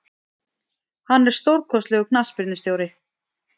Hann er stórkostlegur knattspyrnustjóri.